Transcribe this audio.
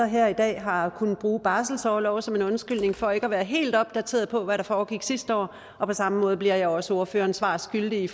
her i dag har kunnet bruge barselsorlov som en undskyldning for ikke at være helt opdateret på hvad der foregik sidste år og på samme måde bliver jeg også ordføreren svar skyldig